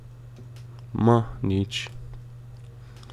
Ma, nič.